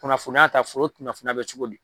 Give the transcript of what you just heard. Kunnafoniya ta foro kunnafoniya bɛ cogo di.